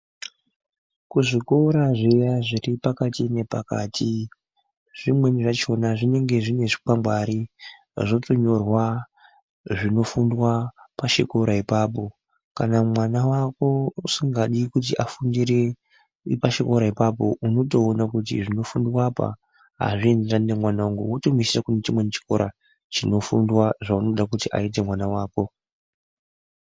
Kuzvikora zviya zviri pakati nepakati zvimweni zvachona zvinenge zvine chikwangwari zvotonyorwa zvinofundwa pachikora ipapo. Kana mwana vako usingadi kuti afundire pachikora ipapo unotoona kuti zvinofundwa apa hazviendarani nemwana vangu unotomuendesa kune chimwe chikora chinofundwa zvaunoda kuti aite mwana vako.